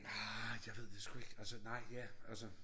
Aeh jeg ved det sgu ikke altså nej ja altså